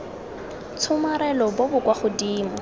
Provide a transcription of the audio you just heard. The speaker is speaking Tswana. tshomarelo bo bo kwa godimo